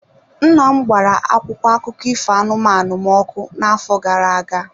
Nna m gbara akwụkwọ akụkọ ifo anụmanụ m ọkụ n'afọ gara aga.